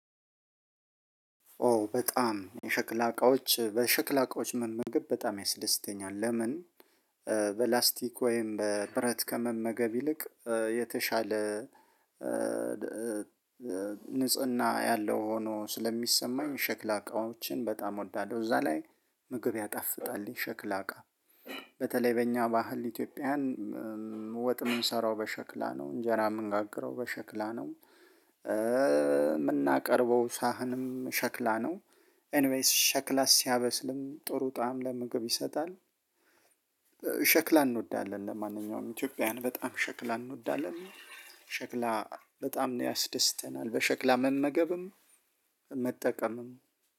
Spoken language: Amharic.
ኦ በጣም የሸክላ እቃዎች በሸክላ እቃዎች መመገብ በጣም ያስደስተኛል ለምን? በላስቲክ ወይም በብረት ከመመገብ ይልቅ የተሻለ ንጽህና ያለው ሆኖ ስለሚሰማኝ ሸክላ እቃዎችን በጣም እወዳለሁ እዛ ላይ ምግብ ያጣፍጣል ሸክላ እቃ። በተለይ በእኛ ባህል ኢትዮጵያን ወጥ የምንሰራው በሸክላ ነ፤ እንጀራ የምንጋግረው በሸክላ ነው። የምናቀርበው ሳህንም ሸክላ ነው። ኤኒ ዌይስ ሸክላ ሲያበስልም ጥሩ ጣዕም ለምግብ ይሰጣል። እንወዳለን ለማንኛውም ኢትዮጵያውያን በጣም ሸክላ እንወዳለን፤ ሸክላ በጣም ነው ያስደስተናል በሸክላ መመገብም፣ መጠቀምም።